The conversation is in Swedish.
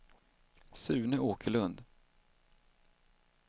Sune Åkerlund